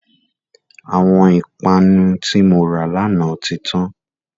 Àwọn ìpanu tí mora lànà tí tán.